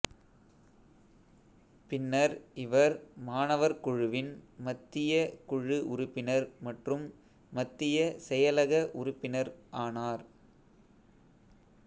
பின்னர் இவர் மாணவர் குழுவின் மத்திய குழு உறுப்பினர் மற்றும் மத்திய செயலக உறுப்பினர் ஆனார்